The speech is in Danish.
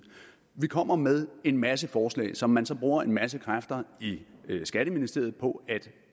vi kommer med en masse forslag som man så bruger en masse kræfter i skatteministeriet på at